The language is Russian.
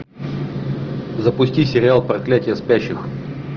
запусти сериал проклятие спящих